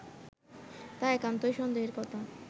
তা একান্তই সন্দেহের কথা